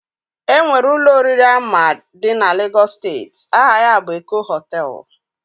Enwere Ụlọ oriri ama di na Lagos steeti, aha ya bụ Eko Hotel